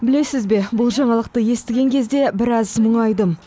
білесіз бе бұл жаңалықты естіген кезде біраз мұңайдым